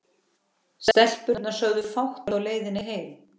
Stelpurnar sögðu fátt á leiðinni heim.